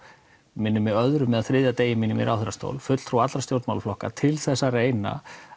minnir mig á öðrum eða þriðja degi mínum í ráðherrastól fulltrúa allra stjórnmálaflokka til þess að reyna